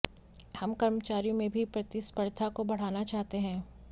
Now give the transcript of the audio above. हम कर्मचारियों में भी प्रतिस्पर्धा को बढ़ाना चाहते हैं